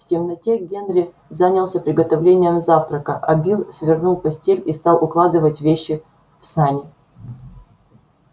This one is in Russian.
в темноте генри занялся приготовлением завтрака а билл свернул постель и стал укладывать вещи в сани